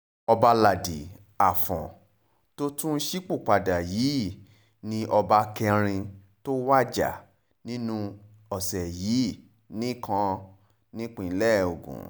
ọbaládi afọ́n tó tún ṣípòpadà yìí ni ọba kẹrin tó wájà nínú ọ̀sẹ̀ yìí nìkan nípínlẹ̀ ogun